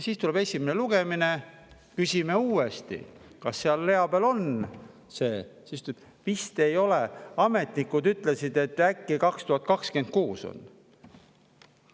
Siis tuleb esimene lugemine, me küsime uuesti, kas seal rea peal on see, aga siis ta ütleb, et vist ei ole, ametnikud ütlesid, et äkki 2026 on.